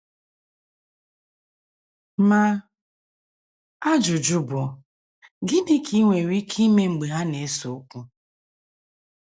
Ma, ajụjụ bụ, Gịnị ka i nwere ike ime mgbe ha na - ese okwu?